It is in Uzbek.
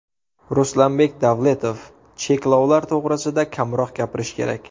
Ruslanbek Davletov: Cheklovlar to‘g‘risida kamroq gapirish kerak.